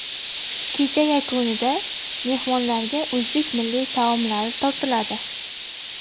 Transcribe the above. Kecha yakunida mehmonlarga o‘zbek milliy taomlari tortiladi.